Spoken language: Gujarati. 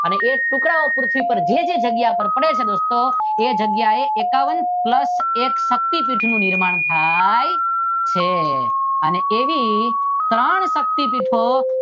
અને એ ટુકડાઓ પૃથ્વી પર જે જે જગ્યાઓ પર પડે છે ત્યારે દોસ્તો એ જગ્યાએ એકાવન પ્લસ એક શક્તીપીઠ નું નિર્માણ થાય છે એવી ત્રણ શક્તીપીઠો